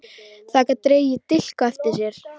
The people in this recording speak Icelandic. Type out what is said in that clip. Það gat dregið dilk á eftir sér.